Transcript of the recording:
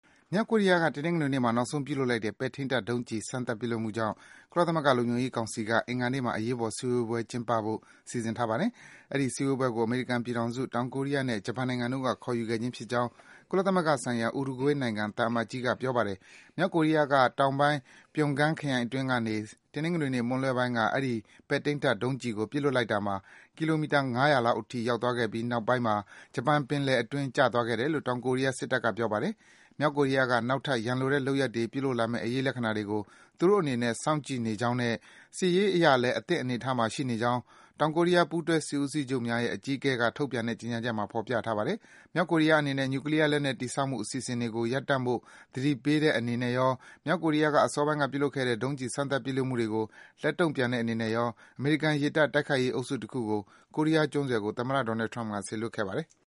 မြောက်ကိုရီးယားက တနင်္ဂနွေနေ့မှာ နောက်ဆုံးပြစ်လွှတ် ပဲ့ထိန်းတပ် ဒုံးကျည် စမ်းသပ်မှုကြောင့် ကုလသမဂ္ဂ လုံခြုံရေးကောင်စီက အင်္ဂါနေ့မှာ အရေးပေါ်စည်းဝေးပွဲ ကျင်းပဖို့ စီစဉ်ထားပါတယ်။ အဲဒီ စည်းဝေးပွဲကို အမေရိကန်ပြည်ထောင်စု၊ တောင်ကိုရီးယားနဲ့ ဂျပန်နိုင်ငံတို့က ခေါ်ယူခဲ့ခြင်းဖြစ်ကြောင်း ကုလသမဂ္ဂဆိုင်ရာ ဥရုဂွေးနိုင်ငံ သံအမတ်ကြီးက ပြောပါတယ်။ မြောက်ကိုရီးယားက တောင်ပိုင်း Pyeongan ခရိုင်အတွင်းကနေ တနင်္ဂနွေနေ့ မွန်းလွဲပိုင်းက အဲဒီ ပဲ့ထိန်းတပ် ဒုံးကျည်ကို ပစ်လွတ်လိုက်တာမှာ ကီလိုမီတာ ၅၀၀ လောက်အထိ ရောက်သွားပြီး နောက်ပိုင်းမှာ ဂျပန် ပင်လယ်အတွင်း ကျသွားခဲ့တယ်လို့ တောင်ကိုရီးယား စစ်တပ်က ပြောပါတယ်။ မြောက်ကိုရီးယားက နောက်ထပ် ရန်လိုတဲ့ လုပ်ရပ်တွေ ပြုလုပ်လာမယ့် အရိပ်လက္ခဏာတွေကို သူတို့အနေနဲ့ စောင့်ကြည့်နေကြောင်းနဲ့ စစ်ရေးအရလည်း အသင့်အနေထားမှာ ရှိနေကြောင်း တောင်ကိုရီးယား ပူးတွဲစစ်ဦးစီးချုပ်များရဲ့ အကြီးအကဲက ထုတ်ပြန်တဲ့ ကြေညာချက်မှာ ဖော်ပြထားပါတယ်။ မြောက်ကိုရီးယားအနေနဲ့ နျူကလီးယား လက်နက် တည်ဆောက်မှု အစီအစဉ်တွေကို ရပ်တန့်ဖို့ သတိပေးတဲ့ အနေရော၊ မြောက်ကိုရီးယားက အစောပိုင်းက ပြုလုပ်ခဲ့တဲ့ ဒုံးကျည် စမ်းသပ် ပစ်လွတ်မှုတွေကို လက်တုန့်ပြန်တဲ့အနေနဲ့ရော အမေရိကန် ရေတပ် တိုက်ခိုက်ရေးအုပ်စု တခုကို ကိုရီးယားကျွန်းဆွယ်ကို သမ္မတ Donald Trump က စေလွတ်ခဲ့ပါတယ်။